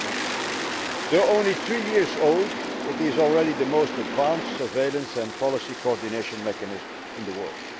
Though only three years old, it is already the most advanced surveillance and policy coordination mechanism in the world.